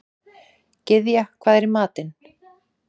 Gyðja, hvað er í matinn?